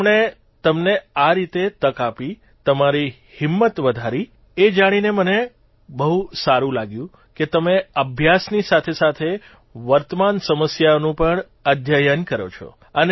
તેમણે તમને આ રીતે તક આપી તમારી હિંમત વધારી એ જાણીને મને બહુ સારૂં લાગ્યું કે તમે અભ્યાસની સાથેસાથે વર્તમાન સમસ્યાઓનું પણ અધ્યયન કરો છો